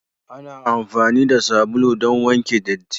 Ana amfani da sabulu don wanke datti.